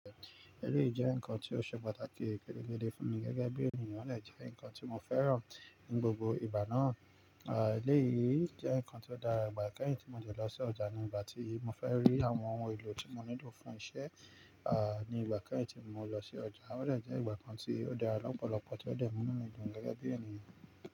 Eléyìí jẹ́ nǹkan tó ṣe pàtàkì peregéde fún mi gẹ́gẹ́ bí ènìyàn, ò dé jẹ́ ǹkan tí mo fẹ́ràn ní gbogbo ìgbà náà. Eléyìí jẹ́ ǹkan tí ó dára ìgbà kẹ́yìn tí mo dẹ̀ lọ sí ọjà ní ìgbà tí mo fẹ́ rí àwọn ohun èlò tí mo nílò fún iṣẹ́, ah ní ìgbà ìkẹyìn tí mo lọ sí ọjà. Ó dẹ̀ jẹ́ ìgbà kan tí ó dára lọ́pọ̀lọpọ̀, tí ó dẹ̀ mú ínu mi dùn gẹ́gẹ́ bí ènìyàn.